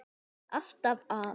Alltaf að.